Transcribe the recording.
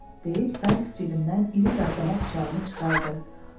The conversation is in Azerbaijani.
deyib Saiks cibindən iri qatdama bıçağını çıxartdı.